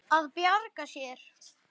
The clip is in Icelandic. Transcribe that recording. Að bjarga sér.